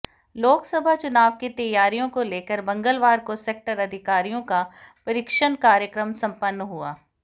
लोकसभा चुनाव की तैयारियों को लेकर मंगलवार को सेक्टर अधिकारियों का प्रशिक्षण कार्यक्रम संपन्न हुआ